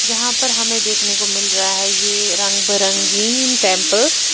यहाँ पर हमें देखने को मिल रहा है यह रंग बारंगीन टेंपल ।